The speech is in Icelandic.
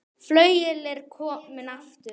Flauel er komið aftur.